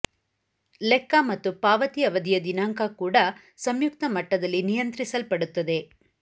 ಲೆಕ್ಕ ಮತ್ತು ಪಾವತಿ ಅವಧಿಯ ದಿನಾಂಕ ಕೂಡ ಸಂಯುಕ್ತ ಮಟ್ಟದಲ್ಲಿ ನಿಯಂತ್ರಿಸಲ್ಪಡುತ್ತದೆ